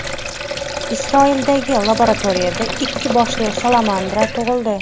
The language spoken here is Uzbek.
Isroildagi laboratoriyada ikki boshli salamandra tug‘ildi.